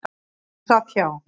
Hún sat hjá.